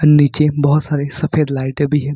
नीचे बहुत सारे सफेद लाइट भी है।